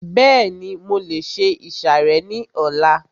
Bẹ́ẹ̀ni, mo lè se ìsàrẹ́ ní ọlá